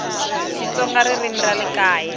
xitsonga ririmi ra le kaya